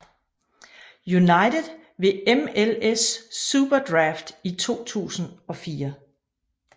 United ved MLS SuperDraft i 2004